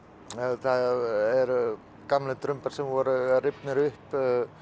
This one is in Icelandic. þetta eru gamlir drumbar sem voru rifnir upp